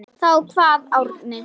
Þá kvað Árni: